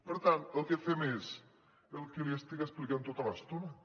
per tant el que fem és el que li estic explicant tota l’estona